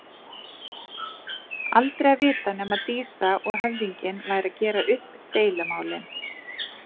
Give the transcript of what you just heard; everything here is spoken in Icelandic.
Aldrei að vita nema Dísa og höfðinginn væru að gera upp deilumálin.